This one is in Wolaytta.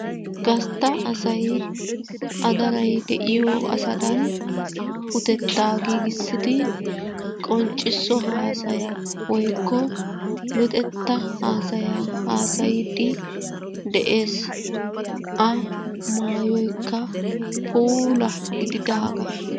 Gastta asay hadaray de'iyo asadan utetta giigissidi qonccisso hasaya woykko luxetta hasaya hassaydde de'ees. A maayoykka puula gididaaga.